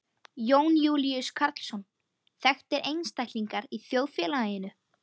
Jón Júlíus Karlsson: Þekktir einstaklingar í þjóðfélaginu?